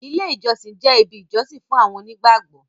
ilé ìjósìn jẹ ibì ìjósìn fún àwọn onígbàgbọ